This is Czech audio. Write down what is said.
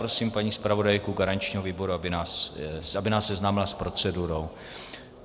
Prosím paní zpravodajku garančního výboru, aby nás seznámila s procedurou.